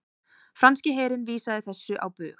Franski herinn vísaði þessu á bug